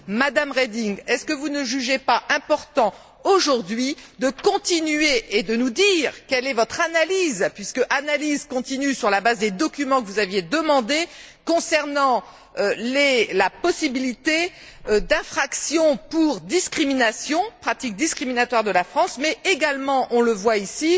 Madame Reding, ne jugez vous pas important, aujourd'hui, de continuer et de nous dire quelle est l'analyse, puisque l'analyse continue, sur la base des documents que vous aviez demandés concernant la possibilité d'infraction pour discrimination, pratique discriminatoire de la France mais également, on le voit ici,